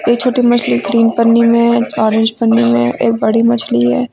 ये छोटी मछली ग्रीन पन्नी में है ऑरेंज पन्नी में है एक बड़ी मछली है।